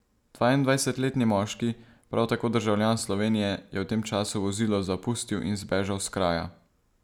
Dvaindvajsetletni moški, prav tako državljan Slovenije, je v tem času vozilo zapustil in zbežal s kraja.